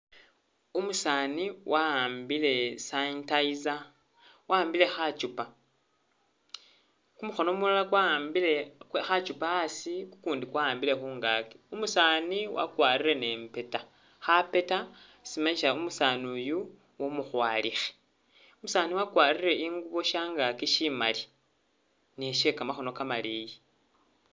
Umusaani wa'ambile sanitizer, wa'ambile khachupa, kumukhono kumulala kwa'ambile khachupa a'asi kukundi kwa'ambile khungaki, umusaani wakwarire ni mpeta, kha'peta simanyisa umusaani uyu umukhwalikhe. Umusaani wakwarire i'ngubo sha'ngaki shimali ni shekamakhono kamaleyi